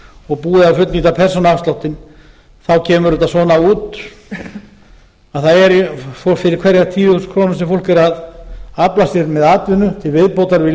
og búið að fullnýta persónuafsláttinn þá kemur þetta svona út að fyrir hverjar tíu þúsund krónur sem fólk er að afla sér með atvinnu til viðbótar við